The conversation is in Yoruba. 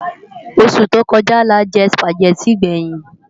Ósú tó kòjá lájè Sùpágèti gbèyin